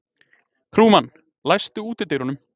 Trúmann, læstu útidyrunum.